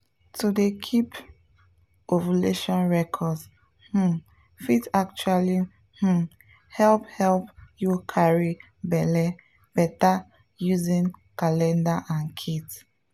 to dey keep ovulation records um fit actually um help help you carry belle better using calendar and kits.